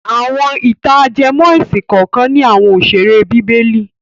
Àwọn ìtàn- ajẹmọ́ ẹ̀sìn kànkan ní àwọn òṣèré bíbélì.